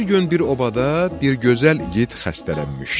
Bir gün bir obada bir gözəl igid xəstələnmişdi.